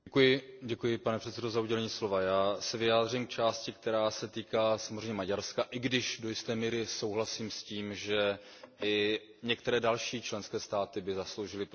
Pane předsedající, já se vyjádřím k části, která se týká samozřejmě Maďarska, i když do jisté míry souhlasím s tím, že i některé další členské státy by zasloužily pozornost.